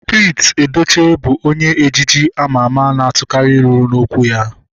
Pete Edochie bụ onye ejije ama ama na-atukari ilu n'okwu ya